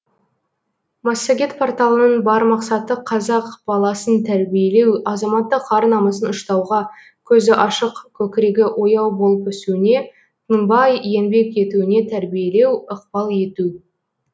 массагет порталының бар мақсаты қазақ баласын тәрбиелеу азаматтық ар намысын ұштауға көзі ашық көкірегі ояу болып өсуіне тынбай еңбек етуіне тәрбиелеу ықпал ету